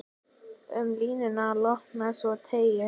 Um línuna lopann svo teygir.